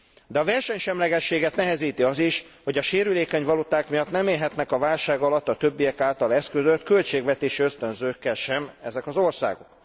De a versenysemlegességet nehezíti az is, hogy a sérülékeny valuták miatt nem élhetnek a válság alatt a többiek által eszközölt költségvetési ösztönzőkkel sem ezek az országok.